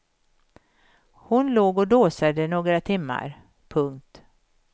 Hon låg och dåsade några timmar. punkt